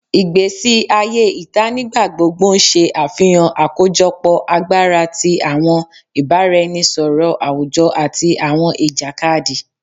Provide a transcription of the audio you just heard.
Ìgbésí ayé ìta nígbàgbogbo ń ṣe àfihàn àkójọpọ̀ agbára tí àwọn ibaraenisọrọ àwùjọ àti àwọn ìjàkadì